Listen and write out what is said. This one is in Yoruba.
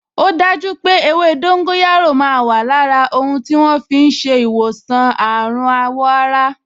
O daju pé ewé dóńgóyárò máa wà lára ohun tí wọ́n fi ń ṣe ìwòsàn àrùn àwọ̀ ara